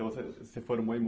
Então você formou e